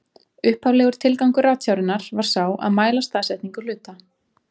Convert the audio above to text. Upphaflegur tilgangur ratsjárinnar var sá að mæla staðsetningu hluta.